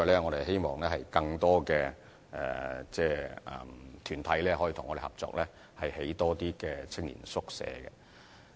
我們希望更多團體和政府合作，興建更多青年宿舍。